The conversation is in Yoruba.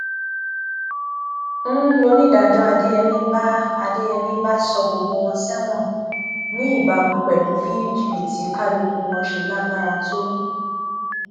n lọnidàájọ adéyẹmi bá adéyẹmi bá sọ gbogbo wọn sẹwọn ní ìbámu pẹlú bí jìbìtì kálukú wọn ṣe lágbára tó